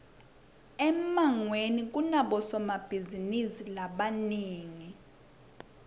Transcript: emangweni kunabosombitizinisi labanengi